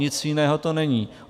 Nic jiného to není.